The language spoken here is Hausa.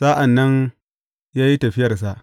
Sa’an nan ya yi tafiyarsa.